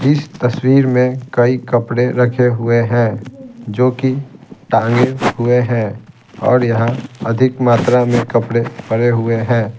इस तस्वीर में कई कपड़े रखे हुए हैं जो कि टांगे हुए हैं और यहाँ अधिक मात्रा में कपड़े पड़े हुए हैं।